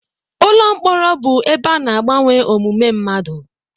Ụlọ mkpọrọ bụ ebe ana agbanwe omume mmadụ.